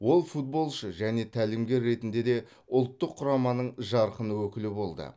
ол футболшы және тәлімгер ретінде де ұлттық құраманың жарқын өкілі болды